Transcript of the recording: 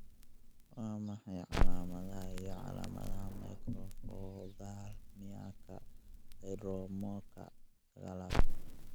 Waa maxay calaamadaha iyo calaamadaha Microphthalmiaka syndromicka sagalaad?